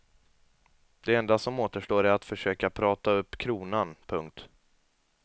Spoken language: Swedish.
Det enda som återstår är att försöka prata upp kronan. punkt